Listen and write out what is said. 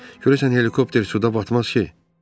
Görəsən helikopter suda batmaz ki?